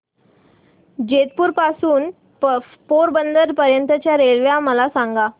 जेतपुर पासून ते पोरबंदर पर्यंत च्या रेल्वे मला सांगा